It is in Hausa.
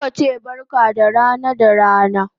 Zaka che barka da rana da rana